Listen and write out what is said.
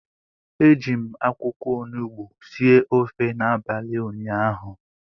Eji m akwụkwọ onugbu sie ofe n'abalị ụnyaahụ